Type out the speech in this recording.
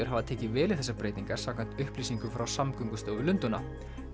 hafa tekið vel í þessar breytingar samkvæmt upplýsingum frá Samgöngustofu Lundúna